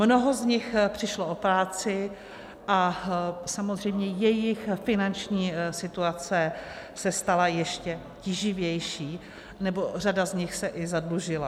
Mnoho z nich přišlo o práci a samozřejmě jejich finanční situace se stala ještě tíživější, nebo řada z nich se i zadlužila.